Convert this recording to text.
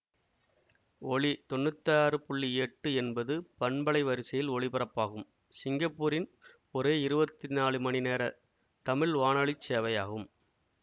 ஒலி தொன்னூத்தாறு புள்ளி எட்டு என்பது பண்பலை வரிசையில் ஒலிபரப்பாகும் சிங்கப்பூரின் ஒரே இருபத்தி நாலு மணி நேர தமிழ் வானொலி சேவையாகும்